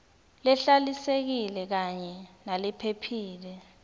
lehlalisekile kanye nalephephile